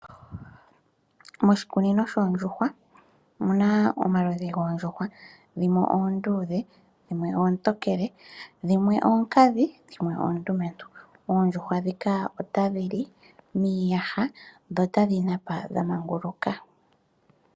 Moshikunino shoondjihwa omu na omaludhi goondjuhwa dhimwe oonduudhe, dhimwe oontokele omu na wo oonkadhi noondumentu. Oondjuhwa dhika ohadhi li miiyaha nohadhi napa dhamanguluka.